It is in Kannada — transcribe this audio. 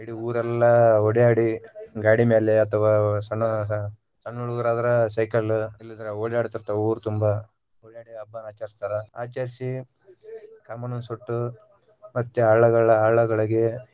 ಇಡೀ ಊರೆಲ್ಲಾ ಓಡ್ಯಾಡಿ ಗಾಡಿ ಮ್ಯಾಲೆ ಅಥವಾ ಸಣ್ಣ ಸಣ್ಣ ಹುಡುಗುರ ಅದ್ರ ಸೈಕಲ್ ಇಲ್ಲಂದ್ರ ಓಡ್ಯಾಡತೀರ್ತಾವ ಊರ ತುಂಬಾ ಈ ಹಬ್ಬಾನ ಆಚರಸ್ತಾರ ಆಚರಸಿ ಕಾಮಣ್ಣನ ಸುಟ್ಟು ಮತ್ತೆ ಹಳ್ಳಗಳ ಹಳ್ಳಗಳಿಗೆ.